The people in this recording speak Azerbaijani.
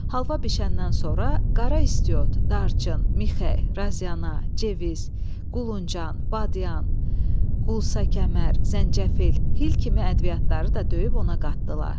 Halva bişəndən sonra qara istiot, darçın, mixək, raziana, ceviz, quluncan, badyan, qulsa kəmər, zəncəfil, hil kimi ədviyyatları da döyüb ona qatdılar.